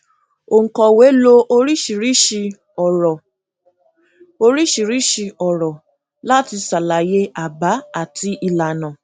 òǹkọwé lò oríṣiríṣi òrọ oríṣiríṣi òrọ láti ṣàlàyé àbá àti ìlànà